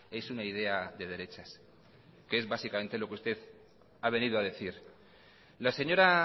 es una idea de derechas que es básicamente lo que usted ha venido a decir la señora